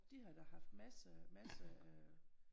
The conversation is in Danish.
De har da haft masser masser af øh